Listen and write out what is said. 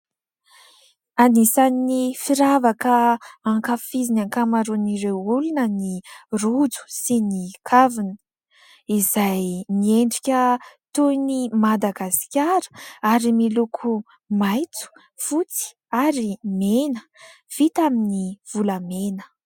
Anisany firavaka ankafizin'ny ankamaroan'ireo olona ny rojo sy ny kavina. Izay miendrika toy ny Madagasikara ary miloko maitso fotsy ary mena, vita amin'ny volamena.